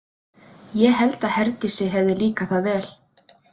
Ég held að Herdísi hefði líkað það vel.